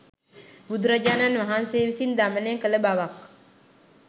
බුදුරජාණන් වහන්සේ විසින් දමනය කළ බවක්